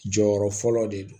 Jɔyɔrɔ fɔlɔ de don